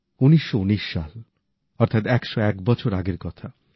১৯১৯ সাল অর্থাৎ ১০১ বছর আগের কথা